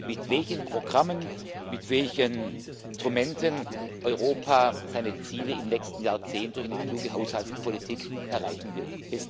mit welchen Programmen, mit welchen Instrumenten Europa seine Ziele im nächsten Jahrzehnt durch eine kluge Haushaltspolitik erreichen will.